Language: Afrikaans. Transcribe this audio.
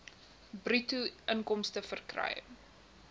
bruto inkomste verkry